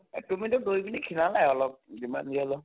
এ তুমিটো দৌৰি পিনে ক্ষীণালাই অলপ যিমান যি হʼলেও